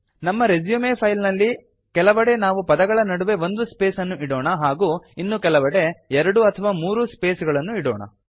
ನಮ್ಮ resume file ನಲ್ಲಿ ಕೆಲವೆಡೆ ನಾವು ಪದಗಳ ನಡುವೆ ಒಂದು ಸ್ಪೇಸ್ ಅನ್ನು ಇಡೋಣ ಹಾಗೂ ಇನ್ನು ಕೆಲವೆಡೆ ಎರಡು ಅಥವಾ ಮೂರು ಸ್ಪೇಸ್ಗಳನ್ನು ಇಡೋಣ